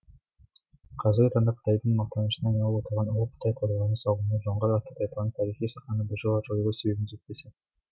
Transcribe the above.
қазіргі таңда қытайдың мақтанышына айналып отырған ұлы қытай қорғанының салыну жоңғар атты тайпаның тарихи сахнадан біржола жойылу себебін зерттесін